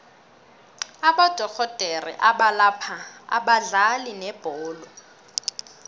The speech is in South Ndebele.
abodorhodere abalapha abadlali bebholo